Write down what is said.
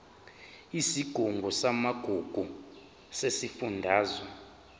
isigungu samagugu sesifundazwe